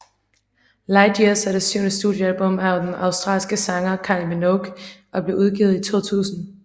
Light Years er det syvende studiealbum af australske sanger Kylie Minogue og blev udgivet i 2000